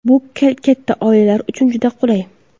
Bu katta oilalar uchun juda qulay.